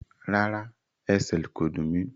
Rárá, ẹsẹl kò dún mí.